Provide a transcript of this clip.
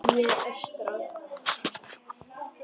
Ég öskra.